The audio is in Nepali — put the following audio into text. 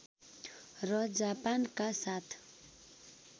र जापानका साथ